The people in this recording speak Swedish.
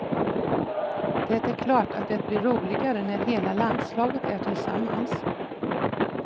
Det är klart att det blir roligare när hela landslaget är tillsammans.